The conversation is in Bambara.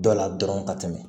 Dɔ la dɔrɔn ka tɛmɛ